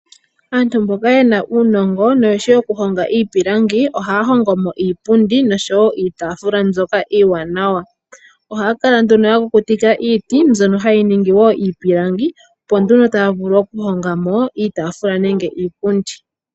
Aantu mboka ye na uunongo noyeshi okuhonga iipilangi ohaya hongo mo iipundi nosho wo iitafula mbyoka iiwanawa. Ohaya kala nduno ya kukutika iiti mbyono hayi ningi iipilangi opo nduno taya vulu okuhonga mo iitafula nenge iipundi.